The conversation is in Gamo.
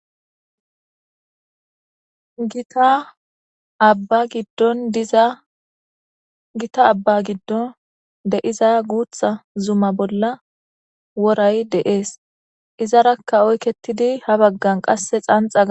Taaddizagita abba giddon de7iza guutha zuma bolla woray deees izarakka oykketidi ha baggan qasse xanxa ga.